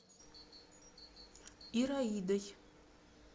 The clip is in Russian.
ираидой